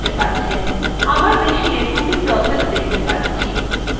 আমার machineএ দুটি processes দেখতে পাচ্ছি